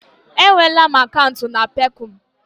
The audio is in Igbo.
E nweela m akaụntụ na Peekọm.